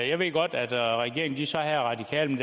jeg ved godt at regeringen så havde radikale